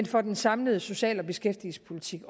for den samlede social og beskæftigelsespolitik